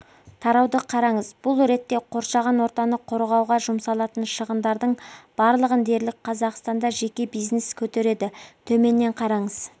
тарауды қараңыз бұл ретте қоршаған ортаны қорғауға жұмсалатын шығындардың барлығын дерлік қазақстанда жеке бизнес көтереді төменнен қараңыз